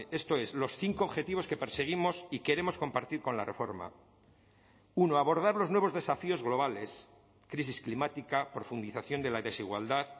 esto es los cinco objetivos que perseguimos y queremos compartir con la reforma uno abordar los nuevos desafíos globales crisis climática profundización de la desigualdad